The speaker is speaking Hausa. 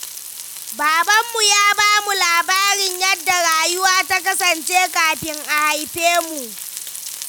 Babanmu ya ba mu labarin yadda rayuwa ta kasance kafin a haife mu.